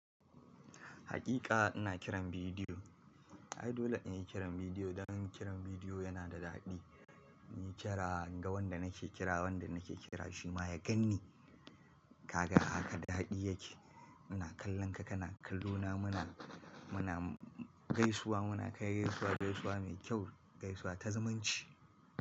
Hakika ina kiran bidiyo. Ai dole in yi kiran bidiyo don kiran bidiyo yana da daɗi. In yi kira in ga wanda nake kira, wanda nake kira shi ma ya ganni. Kaga haka daɗi yake. Muna kallon ka, kana kallo na muna, muna gaisuwa, muna kai gaisuwa, gaisuwa mai kyau, gaisuwa ta zumunci.